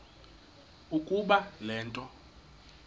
ukuba le nto